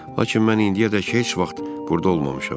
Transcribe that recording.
Lakin mən indiyədək heç vaxt burda olmamışam.